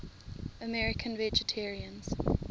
american vegetarians